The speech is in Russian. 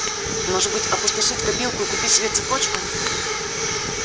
может быть опустошить копилку и купить себе цепочку